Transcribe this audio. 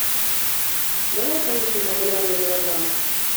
давай поищем популярные мелодрамы